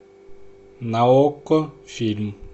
на окко фильм